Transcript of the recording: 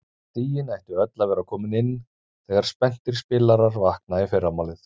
Stigin ættu öll að vera komin inn þegar spenntir spilarar vakna í fyrramálið.